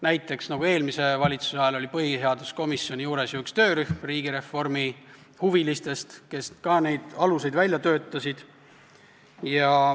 Näiteks nagu eelmise valitsuse ajal oli põhiseaduskomisjoni juures töörühm riigireformihuvilistest, kes ka neid aluseid välja töötas.